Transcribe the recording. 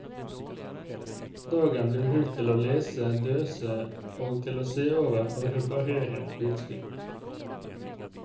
Dagen blir brukt til å lese, døse og til å se over og reparere utstyr.